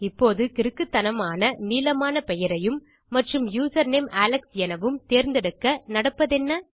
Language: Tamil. இப்போது கிறுக்குத்தனமான நீளமான பெயரையும் மற்றும் யூசர்நேம் அலெக்ஸ் எனவும் தேர்ந்தெடுக்க நடப்பதென்ன